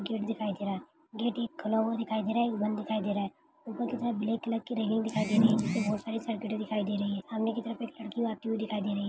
Gate दिखाई दे रहा है गेट एक खुला हुआ दिखाई दे रहा है एक बंद दिखाई दे रहा है ऊपर की तरफ ब्लैक कलर की रेलिंग दिखाई दे रही है नीचे बहोत सारी सर्किटे दिखाई दे रही है सामने की तरफ एक लड़की भागती हुई दिखाई दे रही है।